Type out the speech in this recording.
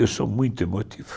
Eu sou muito emotivo.